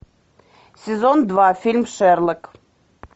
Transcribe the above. сезон два фильм шерлок